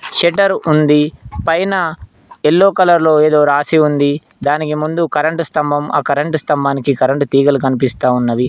Shutter ఉంది పైన yellow colour లో ఏదో రాసి ఉంది దానికి ముందు కరెంటు స్తంభం ఆ కరెంటు స్తంభానికి కరెంటు తీగలు కనిపిస్తా ఉన్నవి.